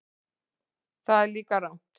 Það er líka rangt.